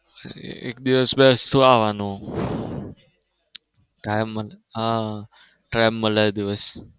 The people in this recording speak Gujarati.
એક દિવસ બેસતું આવવાનું time મળે એ દિવસ.